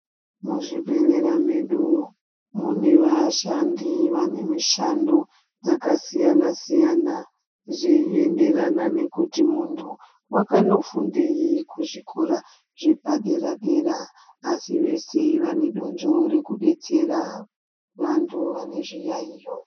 Muzvibhedhlera mwedu mune vashandi vane mishando dzakasiyana-siyana, zveienderana nekuti muntu wakandofundei kuzvikora zvepadera-dera. Asi vese vanedonzvo rekubetsera vantu vane zviyaiyo.